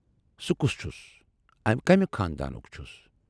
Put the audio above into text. سُہ کُس چھُس؟ کمہِ خاندانُک چھُ؟